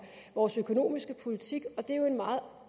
vores økonomiske politik og det er jo en meget